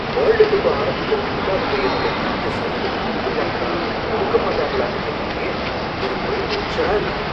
World cup ஆரம்பிக்கிறதுக்குள்ள அவங்க என்னோட டிவி ய சரிபண்ணி குடுத்துருவாங்களா குடுக்க மாட்டாங்களான்னு தெரியலயே, எனக்கு ஒரே டென்ஷனா இருக்கு.